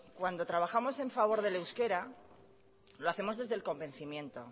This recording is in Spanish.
cuando trabajamos en favor del euskera lo hacemos desde el convencimiento